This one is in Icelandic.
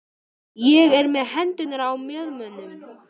Ég er með hendurnar á mjöðmunum.